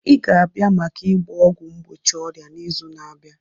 Ị ga-abịa maka ịgba ọgwụ mgbochi ọrịa n'izu na-abịa!